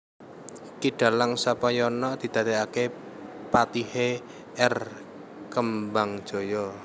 Ki Dalang Sapanyana didadékaké patihé R Kembangjaya